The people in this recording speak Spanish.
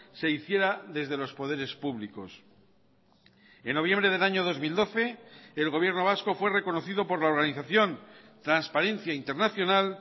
se hiciera desde los poderes públicos en noviembre del año dos mil doce el gobierno vasco fue reconocido por la organización transparencia internacional